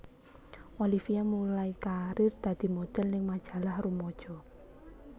Olivia mulai karir dadi modhel ning majalah rumaja